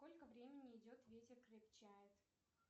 сколько времени идет ветер крепчает